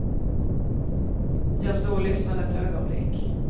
Jag stod och lyssnade ett ögonblick.